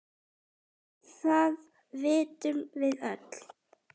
Það vitum við öll.